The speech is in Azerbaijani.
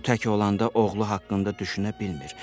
O tək olanda oğlu haqqında düşünə bilmir.